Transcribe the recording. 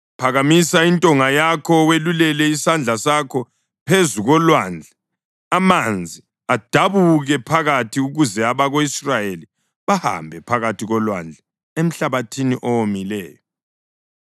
Phakamisa intonga yakho welulele isandla sakho phezu kolwandle amanzi adabuke phakathi ukuze abako-Israyeli bahambe phakathi kolwandle emhlabathini owomileyo.